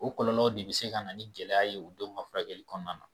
O o kɔlɔlɔw de be se ka na ni gɛlɛya ye u denw ka furakɛli kɔnɔna na